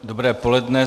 Dobré poledne.